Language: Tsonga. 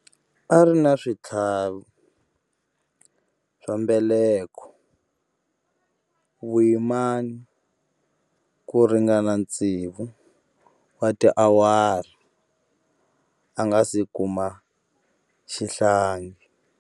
A ri na switlhavi swa mbeleko vuyimani ku ringana tsevu wa tiawara a nga si kuma xihlangi.